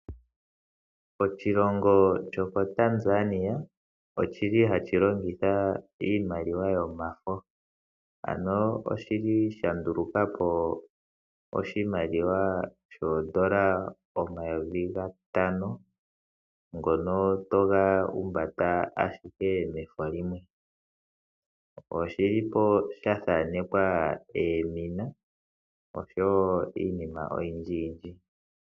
Oshilongo Tanzania ohashi longitha iimaliwa yomafo ano osha ndulukapo oshimaliwa shoondola omayovi gatano ngono toga humbata mefo limwe oshathanekwa oomina oshowo iinima oyindji yindji.